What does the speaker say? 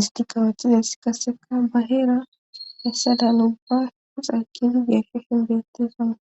isti qawethizes kasseka baheera hessada nubba hixaykidi geeshe shin beettefana